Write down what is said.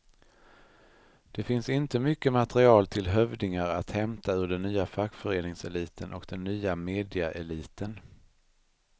Det finns inte mycket material till hövdingar att hämta ur den nya fackföreningseliten och den nya mediaeliten.